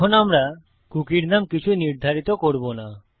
এখন আমরা কুকীর নাম কিছু নির্ধারিত করব না